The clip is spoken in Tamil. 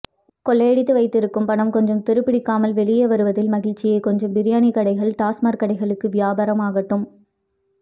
கொள்ளையடித்து வைத்திருக்கும் பணம் கொஞ்சம் துருப்பிடிக்காமல் வெளியே வருவதில் மகிழ்ச்சியே கொஞ்சம் பிரியாணிக்கடைகள் டாஸ்மாக் கடைகளுக்கு வியாபாரம் ஆகட்டும்